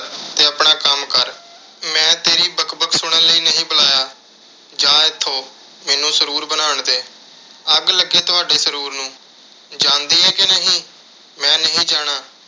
ਤੇ ਆਪਣਾ ਕੰਮ ਕਰ। ਮੈਂ ਤੇਰੀ ਬਕ-ਬਕ ਸੁਣਨ ਲਈ ਨਹੀਂ ਬੁਲਾਇਆ। ਜਾ ਇੱਥੋਂ ਮੈਨੂੰ ਸਰੂਰ ਬਣਾਉਣ ਦੇ। ਅੱਗ ਲੱਗੇ ਤੁਹਾਡੇ ਸਰੂਰ ਨੂੰ। ਜਾਂਦੀ ਏ ਕਿ ਨਹੀਂ। ਮੈਂ ਨਹੀਂ ਜਾਣਾ।